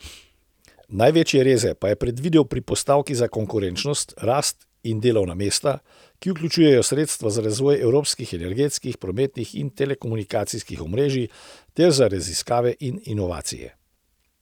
Največje reze pa je predvidel pri postavki za konkurenčnost, rast in delovna mesta, ki vključujejo sredstva za razvoj evropskih energetskih, prometnih in telekomunikacijskih omrežij ter za raziskave in inovacije.